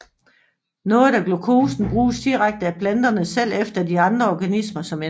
Noget af glukosen bruges direkte af planterne selv eller af andre organismer som energistof